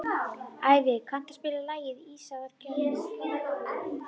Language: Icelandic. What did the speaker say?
Ævi, kanntu að spila lagið „Ísaðar Gellur“?